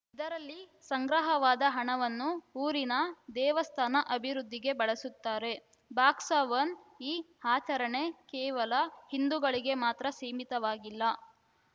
ಇದರಲ್ಲಿ ಸಂಗ್ರಹವಾದ ಹಣವನ್ನು ಊರಿನ ದೇವಸ್ಥಾನ ಅಭಿವೃದ್ಧಿಗೆ ಬಳಸುತ್ತಾರೆ ಬಾಕ್ಸ ಒನ್ ಈ ಆಚರಣೆ ಕೇವಲ ಹಿಂದುಗಳಿಗೆ ಮಾತ್ರ ಸೀಮಿತವಾಗಿಲ್ಲ